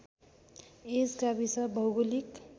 यस गाविस भौगोलिक